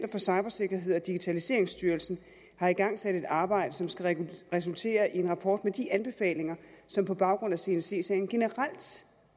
for cybersikkerhed og digitaliseringsstyrelsen har igangsat et arbejde som skal resultere i en rapport med de anbefalinger som på baggrund af csc sagen generelt